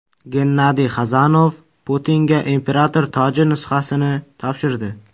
Gennadiy Xazanov Putinga imperator toji nusxasini topshirdi.